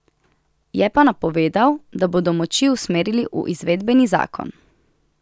Je pa napovedal, da bodo moči usmerili v izvedbeni zakon.